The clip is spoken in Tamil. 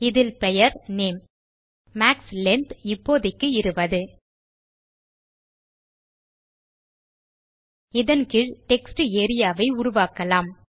இதில் பெயர் நேம் மாக்ஸ் லெங்த் இப்போதைக்கு 20 இதன் கீழ் டெக்ஸ்ட் ஏரியா வை உருவாக்கலாம்